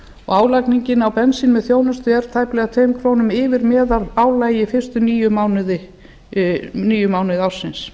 álagningin á bensíni með þjónustu er tæplega tveim krónum yfir meðalálagi fyrstu níu mánuði ársins